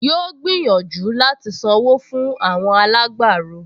Yóò gbìyànjú láti sanwó fún àwọn alágbàro